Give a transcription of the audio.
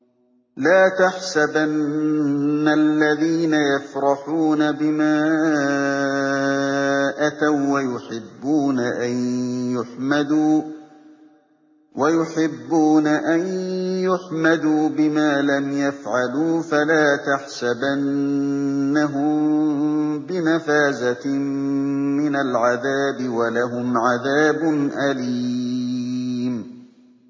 لَا تَحْسَبَنَّ الَّذِينَ يَفْرَحُونَ بِمَا أَتَوا وَّيُحِبُّونَ أَن يُحْمَدُوا بِمَا لَمْ يَفْعَلُوا فَلَا تَحْسَبَنَّهُم بِمَفَازَةٍ مِّنَ الْعَذَابِ ۖ وَلَهُمْ عَذَابٌ أَلِيمٌ